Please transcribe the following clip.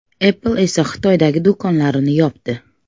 Apple esa Xitoydagi do‘konlarini yopdi .